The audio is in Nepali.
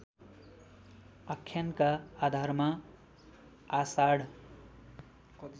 आख्यानका आधारमा आषाढ